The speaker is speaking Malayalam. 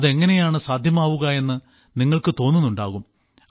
അതെങ്ങനെയാണ് സാധ്യമാവുക എന്ന് നിങ്ങൾക്ക് തോന്നുന്നുണ്ടാകും